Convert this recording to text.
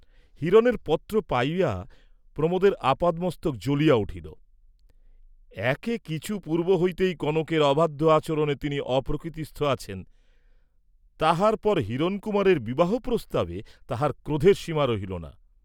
হিরণের পত্র পাইয়া প্রমোদের আপাদমস্তক জ্বলিয়া উঠিল, একে কিছু পূর্ব হইতেই কনকের অবাধ্য আচরণে তিনি অপ্রকৃতিস্থ আছেন, তাহার পর হিরণকুমারের বিবাহ প্রস্তাবে তাঁহার ক্রোধের সীমা রহিল না।